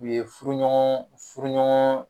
U ye furuɲɔgɔn furuɲɔgɔn